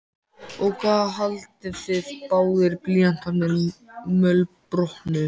Og hvað haldið þið báðir blýantarnir mölbrotnuðu!